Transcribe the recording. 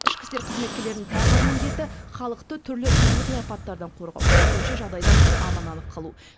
ішкі істер қызметкерлерінің тағы бір міндеті халықты түрлі табиғи апаттардан қорғау төтенше жағдайдан аман алып қалу